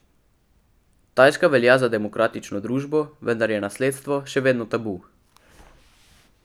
Tajska velja za demokratično družbo, vendar je nasledstvo še vedno tabu.